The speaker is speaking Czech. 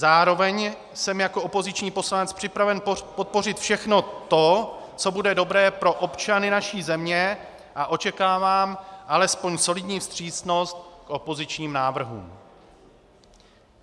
Zároveň jsem jako opoziční poslanec připraven podpořit všechno to, co bude dobré pro občany naší země, a očekávám alespoň solidní vstřícnost k opozičním návrhům.